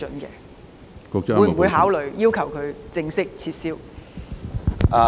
局方會否考慮要求德國正式撤銷該批准？